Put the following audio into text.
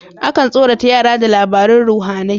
Akan tsorata yara da labaran ruhAnai